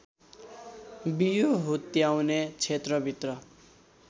बियो हुत्याउने क्षेत्रभित्र